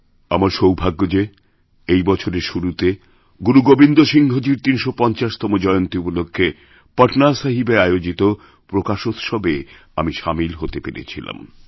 আমার সৌভাগ্য যে এইবছরের শুরুতে গুরু গোবিন্দ সিংহজীর ৩৫০তম জয়ন্তী উপলক্ষ্যে পটনাসাহিবে আয়োজিতপ্রকাশোৎসবএ আমি সামিল হতে পেরেছিলাম